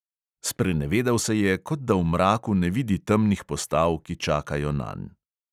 Sprenevedal se je, kot da v mraku ne vidi temnih postav, ki čakajo nanj.